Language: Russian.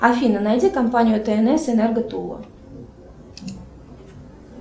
афина найди компанию тнс энерго тула